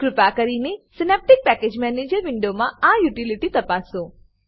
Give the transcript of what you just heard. કૃપા કરીને synaptic package manager વિન્ડોમા આ યુટીલીટી તપાસો